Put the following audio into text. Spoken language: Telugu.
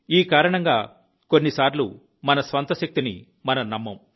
ఈ కారణంగా కొన్నిసార్లు మన స్వంత శక్తిని మనం నమ్మము